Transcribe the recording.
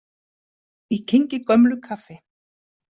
Ég kyngi gömlu kaffi.